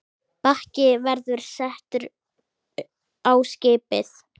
Bakki verður settur á skipið.